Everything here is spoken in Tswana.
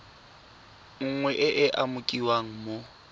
nngwe e e umakiwang mo